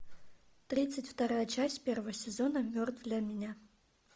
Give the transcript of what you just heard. тридцать вторая часть первого сезона мертв для меня